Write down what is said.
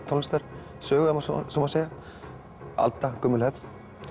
tónlistarsögu ef svo má segja aldagömul hefð